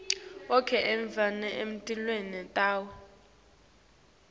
onkhe emave anetilwimi tawo